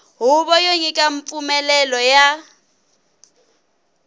huvo yo nyika mpfumelelo ya